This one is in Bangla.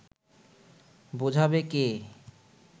বোঝাবে কে